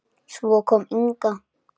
Svo kom Inga.